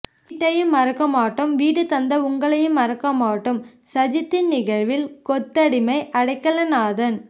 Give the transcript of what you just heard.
வீட்டையும் மறக்கமாட்டோம் வீடு தந்த உங்களையும் மறக்கமாட்டோம் சஜித்தின் நிகழ்வில் கொத்தடிமை அடைக்கலநாதன்